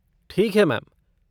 ठीक है मैम।